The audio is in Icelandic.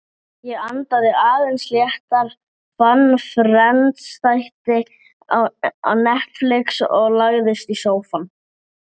Já, það er horfið.